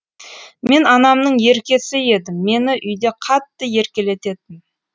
мен анамның еркесі едім мені үйде қатты еркелететін